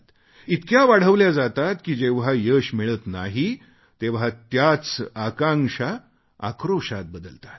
इतक्या वाढवल्या जातात की जेव्हा यश मिळत नाही तेव्हा त्याच आकांक्षा आक्रोशात बदलतात